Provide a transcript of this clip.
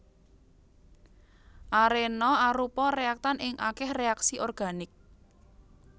Arena arupa réaktan ing akèh reaksi organik